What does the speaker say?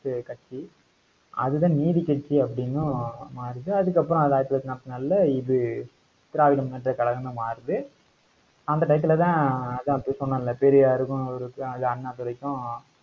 கட்சி. அதுதான் நீதிக்கட்சி அப்படின்னும் மாறிடுச்சி அதுக்கப்புறம் அது ஆயிரத்தி தொள்ளாயிரத்தி நாற்பத்தி நாலுல இது திராவிட முன்னேற்ற கழகமா மாறுது. அந்த டயத்துல தான் அதான் அதான் அப்படி சொன்னோம்ல பெரியாருக்கும் அவருக்கும் அது அண்ணாதுரைக்கும்